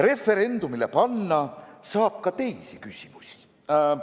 Referendumile panna saab ka teisi küsimusi.